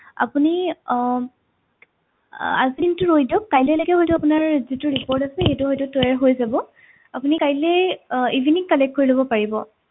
আপুনি আহ আজিৰ দিনটো ৰৈ দিয়ক কাইলে লৈকে হয়তো আপোনাৰ যিটো report আছে সেইটো হয়তো তৈয়াৰ হৈ যাব আপুনি কাইলে আহ evening collect কৰি লব পাৰিব